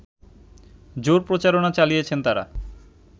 জোর প্রচারণা চালিয়েছেন তারা